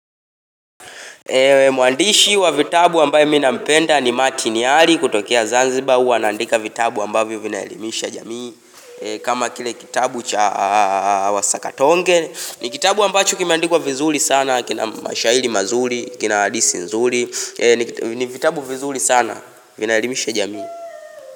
Mwandishi wa vitabu ambayo mi nampenda ni matiniari kutokea Zanzibar huwa anaandika vitabu ambayo vinaelimisha jamii kama kile kitabu cha wa sakatonge ni kitabu ambacho kimiandikwa vizuli sana kina mashahiri mazuri, kina hadisi nzuri ni vitabu vizuli sana, vinaelimisha jamii.